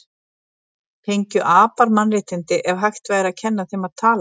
Fengju apar mannréttindi ef hægt væri að kenna þeim að tala?